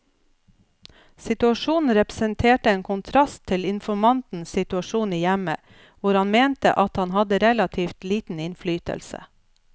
Situasjonen representerte en kontrast til informantens situasjon i hjemmet, hvor han mente at han hadde relativt liten innflytelse.